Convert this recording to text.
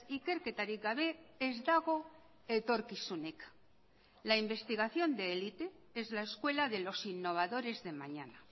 ikerketarik gabe ez dago etorkizunik la investigación de élite es la escuela de los innovadores de mañana